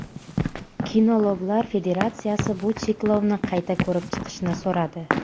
Kinologlar federatsiyasi bu cheklovni qayta ko‘rib chiqishni so‘radi.